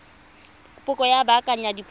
kopo ya go baakanya diphoso